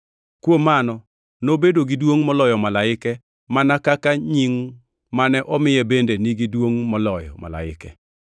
Kuom mano, nobedo gi duongʼ moloyo malaike mana kaka nying mane omiye bende nigi duongʼ moloyo malaika.